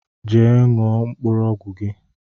Jee ṅụọ mkpụrụ ọgwụ gi